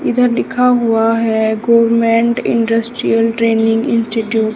इधर लिखा हुआ है गवर्नमेंट इंडस्ट्रियल ट्रेंनिंग इंस्टीट्यूट --